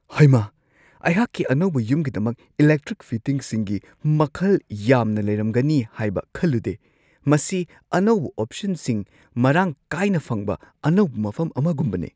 ꯍꯩꯃꯥ, ꯑꯩꯍꯥꯛꯀꯤ ꯑꯅꯧꯕ ꯌꯨꯝꯒꯤꯗꯃꯛ ꯏꯂꯦꯛꯇ꯭ꯔꯤꯛ ꯐꯤꯇꯤꯡꯁꯤꯡꯒꯤ ꯃꯈꯜ ꯌꯥꯝꯅ ꯂꯩꯔꯝꯒꯅꯤ ꯍꯥꯏꯕ ꯈꯜꯂꯨꯗꯦ -ꯃꯁꯤ ꯑꯅꯧꯕ ꯑꯣꯞꯁꯟꯁꯤꯡ ꯃꯔꯥꯡ ꯀꯥꯏꯅ ꯐꯪꯕ ꯑꯅꯧꯕ ꯃꯐꯝ ꯑꯃꯒꯨꯝꯕꯅꯤ !